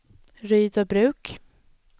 Rydöbruk